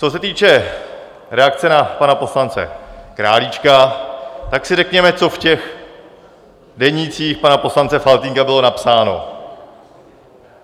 Co se týče reakce na pana poslance Králíčka, tak si řekněme, co v těch denících pana poslance Faltýnka bylo napsáno.